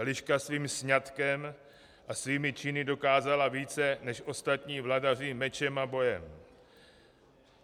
Eliška svým sňatkem a svými činy dokázala více než ostatní vladaři mečem a bojem.